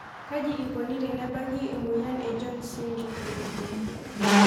Kaji eikoni tenebaki emoyian e jones syndrome?